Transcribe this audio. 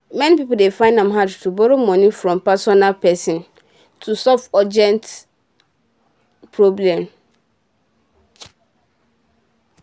many pipo dey fine am hard to borrow moni from personal person to solve urgent solve urgent problem